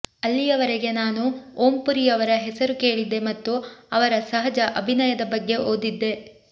ಅಲ್ಲಿಯವರೆಗೆ ನಾನು ಓಂ ಪುರಿಯವರ ಹೆಸರು ಕೇಳಿದ್ದೆ ಮತ್ತು ಅವರ ಸಹಜ ಅಭಿನಯದ ಬಗ್ಗೆ ಓದಿದ್ದೆ